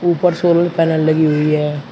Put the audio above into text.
ऊपर solar panel लगी हुई है।